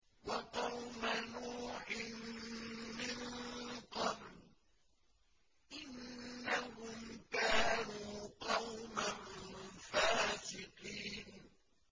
وَقَوْمَ نُوحٍ مِّن قَبْلُ ۖ إِنَّهُمْ كَانُوا قَوْمًا فَاسِقِينَ